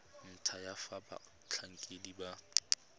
ntlha ya fa batlhankedi ba